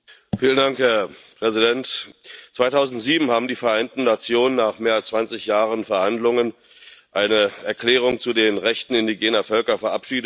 Herr Präsident! 2007 haben die Vereinten Nationen nach mehr als 20 Jahren Verhandlungen eine Erklärung zu den Rechten indigener Völker verabschiedet.